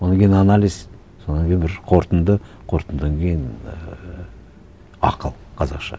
одан кейін анализ содан кейін бір қорытынды қорытындыдан кейін ііі ақыл қазақша